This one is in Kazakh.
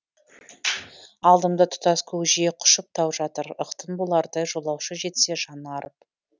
алдымда тұтас көкжиек құшып тау жатыр ықтын болардай жолаушы жетсе жаны арып